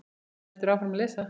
Hann heldur áfram að lesa